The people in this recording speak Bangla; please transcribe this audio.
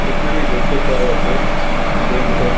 এখানে দেখতে পাওয়া যাছে ব্যাঙ্ক অফ --